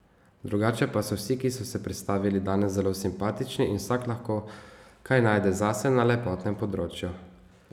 Drugače pa so vsi, ki so se predstavili danes, zelo simpatični in vsak lahko kaj najde zase na lepotnem področju.